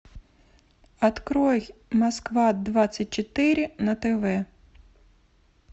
открой москва двадцать четыре на тв